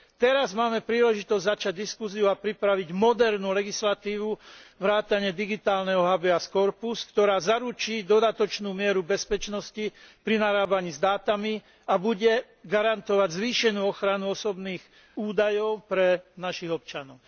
Teraz máme príležitosť začať diskusiu a pripraviť modernú legislatívu vrátane digitálneho habeas corpus ktorá zaručí dodatočnú mieru bezpečnosti pri narábaní s dátami a bude garantovať zvýšenú ochranu osobných údajov pre našich občanov.